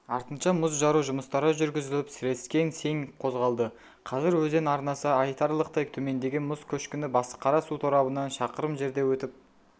артынша мұз жару жұмыстары жүргізіліп сірескең сең қозғалды қазір өзен арнасы айтарлықтай төмендеген мұз көшкіні басықара су торабынан шақырым жерде өтіп